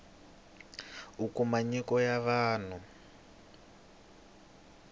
u kuma nyiko ya vanhu